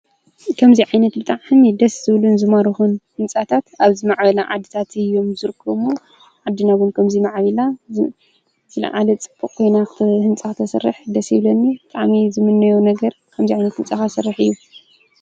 ብጣዕሚ ዝማዕረጉ ዘመናዊ ህንፃታት ኣብ ዝመዕበሉ ዓዲ ይርከቡ።